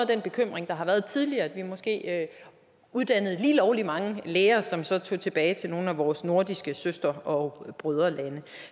den bekymring der har været tidligere at vi måske uddannede lige lovlig mange læger som så tog tilbage til nogle af vores nordiske søster og broderlande